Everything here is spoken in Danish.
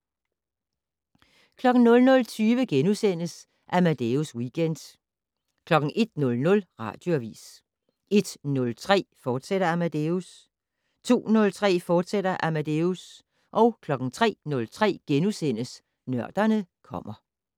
00:20: Amadeus Weekend * 01:00: Radioavis 01:03: Amadeus, fortsat 02:03: Amadeus, fortsat 03:03: Nørderne kommer *